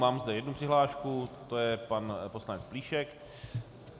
Mám zde jednu přihlášku, to je pan poslanec Plíšek.